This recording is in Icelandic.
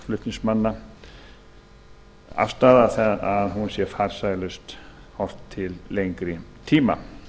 afstaða okkar flutningsmanna að hún sé farsælust þegar horft er til lengri tíma